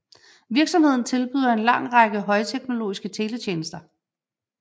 Virksomheden tilbyder en lang række højteknologiske teletjenester